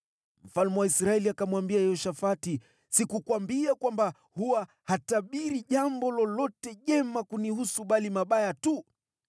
Mfalme wa Israeli akamwambia Yehoshafati, “Sikukuambia kwamba huwa hatabiri jambo lolote jema kunihusu bali mabaya tu?”